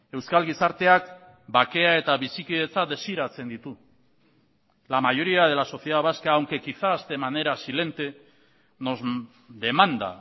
euskal gizarteak bakea eta bizikidetza desiratzen ditu la mayoría de la sociedad vasca aunque quizás de manera silente nos demanda